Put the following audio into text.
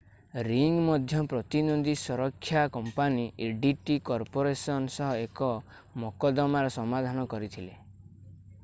ring ମଧ୍ୟ ପ୍ରତିଦ୍ୱନ୍ଦୀ ସୁରକ୍ଷା କମ୍ପାନୀ adt କର୍ପୋରେସନ ସହ ଏକ ମକଦ୍ଦମାର ସମାଧାନ କରିଥିଲା